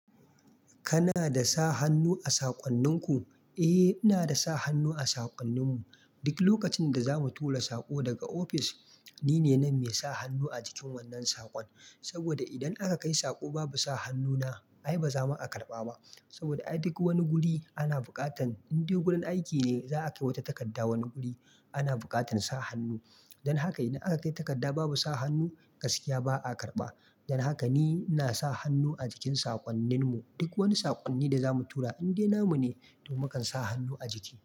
Kana da sa hannu a saƙonninku? Eh, ina da sa hannu a saƙonninmu. Duk lokacin da za mu tura saƙo daga ofis, ni ne nan mai sa hannu a jikin wannan saƙon. Saboda idan aka kai saƙo babu sa hannuna, ai ba za ma a karɓa ba. Saboda ai duk wani guri ana buƙatan in dai wurin aiki ne za a kai wata takarda, wani guri ana buƙatan sa hannu. Dan haka idan aka kai takarda babu sa hannu, gaskiya ba a karɓa. Dan haka ni ina sa hannu a jikin saƙonninmu. Duk wani saƙonni da za mu tura, in dai namu ne to na kan sa hannu a jiki.